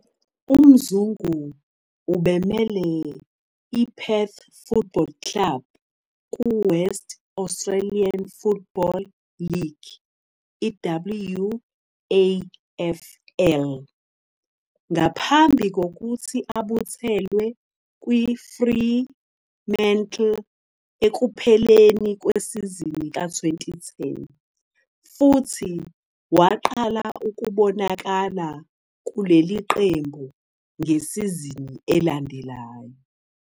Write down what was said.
UMzungu ubemele iPerth Football Club kuWest Australian Football League, WAFL, ngaphambi kokuthi abuthelwe kuFremantle ekupheleni kwesizini ka- 2010, futhi waqala ukubonakala kuleli qembu ngesizini elandelayo.